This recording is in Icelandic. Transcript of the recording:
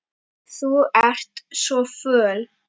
Þú ert svo föl.